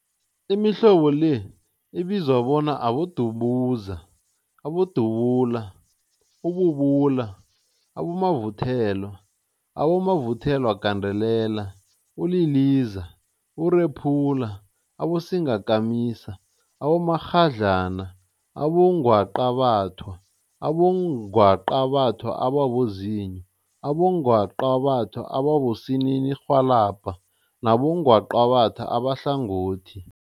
Imihlobo le ibizwa bona, Abodumuza, Abodubula, ububula, abomavuthelwa, abomavuthelwagandelela, uliliza, urephula, abosingakamisa, abomakghadlana, abongwaqabathwa, abongwaqabathwa ababozinyo, abongwaqabathwa abosininirhwalabha nabongwaqabatha abahlangothi.